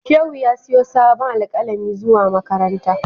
Shehu ya siyo sabon alkalami zuwa makaranta.